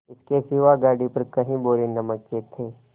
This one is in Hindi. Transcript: इसके सिवा गाड़ी पर कई बोरे नमक के थे